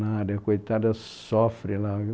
Nada, a coitada sofre lá viu